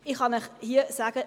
Ich kann Ihnen hier sagen: